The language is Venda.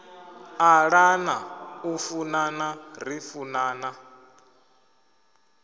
ṱalana u funana ri funana